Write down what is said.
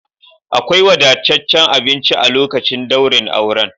Akwai wadataccen abinci a lokacin daurin auren.